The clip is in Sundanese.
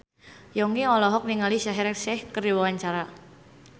Yongki olohok ningali Shaheer Sheikh keur diwawancara